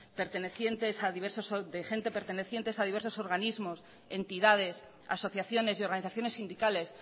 de gente pertenecientes a diversos organismos entidades asociaciones y organización sindicales